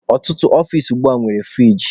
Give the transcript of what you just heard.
Ọtụtụ ọfici ugbua nwere furigi.